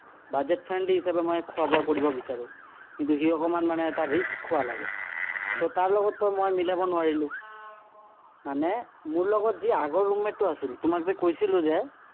buget-friendly হিচাপে মই খোৱা-বোৱা কৰিব বিচাৰো। কিন্তু, সি অকণমান মানে তাৰ rich খোৱা লাগে, তাৰ লগততো মই মিলাব নোৱাৰিলো। মানে মোৰ লগত যি আগৰ room-mate টো আছিল, তোমাক যে কৈছিলো যে